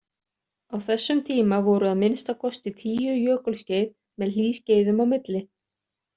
Á þessum tíma voru að minnsta kosti tíu jökulskeið með hlýskeiðum á milli.